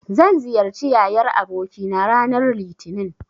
Zan ziyarci yayar abokina ranar Litinin.